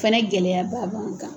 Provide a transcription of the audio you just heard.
Fɛnɛ gɛlɛyaba b'an kan.